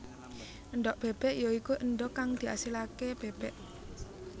Endhog bébék ya iku endhog kang diasilaké bébék